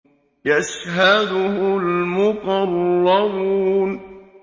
يَشْهَدُهُ الْمُقَرَّبُونَ